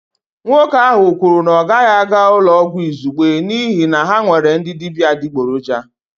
Nwoke ahụ kwuru na ọ gaghị aga ụlọ ọgwụ izugbe n'ihi na ha nwere ndị dibịa adịgboroja